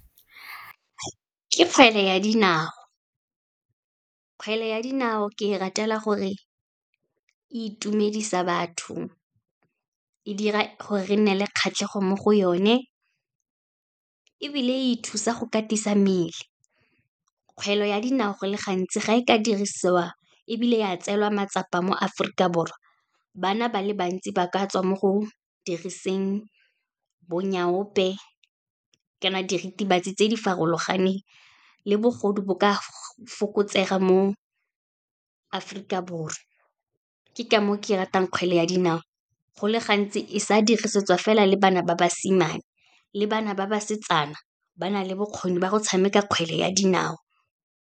Ke kgwele ya dinao, kgwele ya dinao ke e ratela gore itumedisa batho, e dira gore re nne le kgatlhego mo go yone, ebile e thusa go katisa mmele. Kgwele ya dinao, go le gantsi ga e ka dirisiwa ebile ya tseelwa matsapa mo Aforika Borwa, bana ba le bantsi ba ka tswa mo go diriseng bo nyaope, kana diritibatsi tse di farologaneng, le bogodu bo ka fokotsega mo Aforika Borwa, ke ka moo ke ratang kgwele ya dinao. Go le gantsi, e sa dirisetswa fela le bana ba basimane, le bana ba basetsana ba na le bokgoni ba go tshameka kgwele ya dinao.